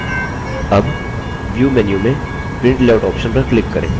अब view menu में print layout option पर click करें